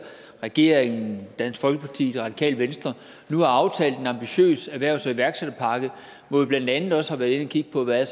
regeringen dansk folkeparti og det radikale venstre nu har aftalt en ambitiøs erhvervs og iværksætterpakke hvor vi blandt andet også har været inde at kigge på hvad